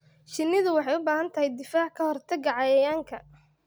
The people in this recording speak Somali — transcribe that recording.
Shinnidu waxay u baahan tahay difaac ka hortagga cayayaanka.